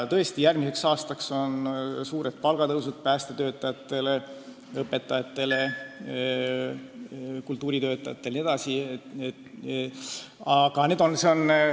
Tõesti, järgmiseks aastaks on ette nähtud suured palgatõusud päästetöötajatel, õpetajatel, kultuuritöötajatel jne.